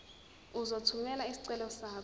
uzothumela isicelo sakho